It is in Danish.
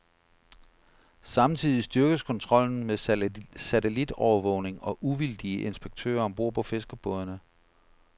Samtidig styrkes kontrollen med satellitovervågning og uvildige inspektører om bord på fiskerbådene.